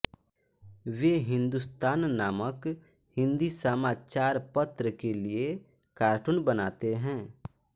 वे हिन्दुस्तान नामक हिन्दी समाचारपत्र के लिए कार्टून बनाते हैं